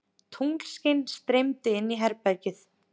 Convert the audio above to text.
Tunglskin streymdi inn í herbergið.